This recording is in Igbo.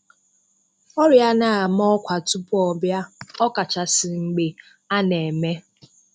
Ọrịa anaghị ama ọ́kwà tupu ọ bịa, ọkachasị mgbe a na-eme.